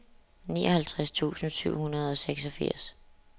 nioghalvtreds tusind syv hundrede og seksogfirs